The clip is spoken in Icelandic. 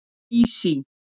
Sísí